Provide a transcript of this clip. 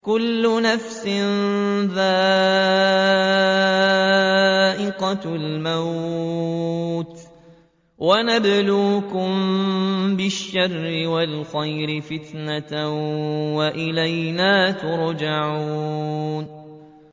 كُلُّ نَفْسٍ ذَائِقَةُ الْمَوْتِ ۗ وَنَبْلُوكُم بِالشَّرِّ وَالْخَيْرِ فِتْنَةً ۖ وَإِلَيْنَا تُرْجَعُونَ